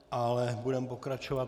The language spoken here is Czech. Ale budeme pokračovat.